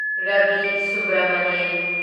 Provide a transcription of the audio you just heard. Ravi Subramanian